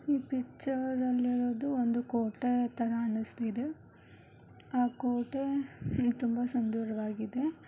ಈ ಪಿಕ್ಚರ್ ಅಲ್ಲಿ ಇರೋದು ಒಂದು ಕೋಟೆ ಥರ ಅನ್ನಿಸ್ತಿದೆ. ಆ ಕೋಟೆ ತುಂಬಾ ಸುಂದರವಾಗಿದೆ.